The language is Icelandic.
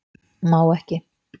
Má ekki